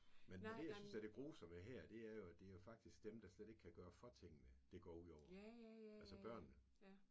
Men men det jeg synes der er det grusomme her det er jo at det jo faktisk dem der slet ikke kan gøre for tingene det går ud over. Altså børnene